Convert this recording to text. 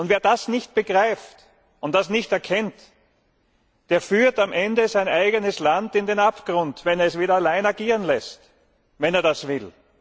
Wer das nicht begreift und erkennt, der führt am Ende sein eigenes Land in den Abgrund, wenn er es allein agieren lässt, wenn er das will.